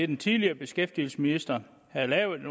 den tidligere beskæftigelsesminister havde lavet